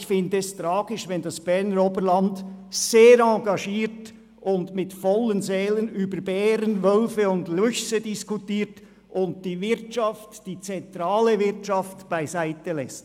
Ich finde es tragisch, wenn das Parlament sehr engagiert und beseelt über Bären, Wölfe und Luchse diskutiert und die zentrale Wirtschaft beiseitelässt.